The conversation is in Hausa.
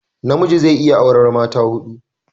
namiji zai iya aura mata hudu